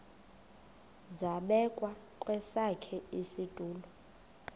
zabekwa kwesakhe isitulo